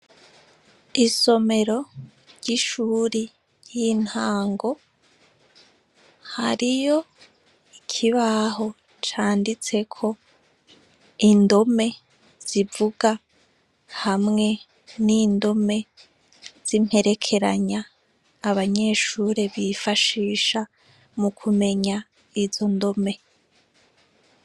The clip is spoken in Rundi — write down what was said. Isomero ry'ishure y'intango hariyo ikibaho canditseko indome zivuga hamwe n'indome zimperekeranya abanyeshure bifashisha mukumenya izondome.